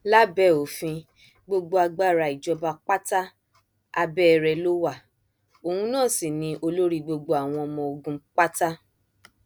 lábẹ òfin gbogbo agbára ìjọba pátá abẹ rẹ ló wá òun náà sí ni olórí gbogbo àwọn ọmọ ogun pátá